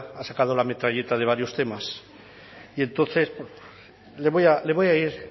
ha sacado la metralleta de varios temas y entonces le voy a ir